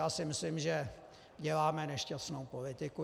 Já si myslím, že děláme nešťastnou politiku.